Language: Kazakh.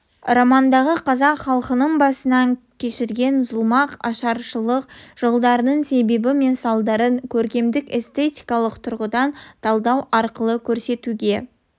романындағы қазақ халқының басынан кешірген зұлмат-ашаршылық жылдарының себебі мен салдарын көркемдік-эстетикалық тұрғыдан талдау арқылы көрсетуге